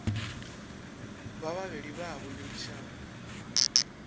ba babedi ba a boledišana